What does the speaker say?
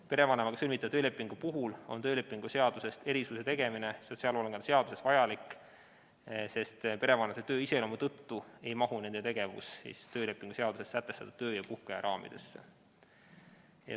Perevanemaga sõlmitava töölepingu puhul on töölepingu seadusest erisuse tegemine sotsiaalhoolekande seaduses vajalik, sest perevanemate töö iseloomu tõttu ei mahu nende tegevus töölepingu seaduses sätestatud töö- ja puhkeaja raamidesse.